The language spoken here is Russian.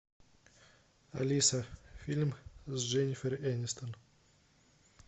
алиса фильм с дженнифер энистон